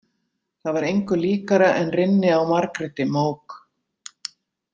Það var engu líkara en rynni á Margréti mók.